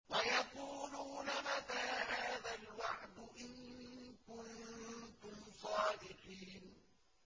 وَيَقُولُونَ مَتَىٰ هَٰذَا الْوَعْدُ إِن كُنتُمْ صَادِقِينَ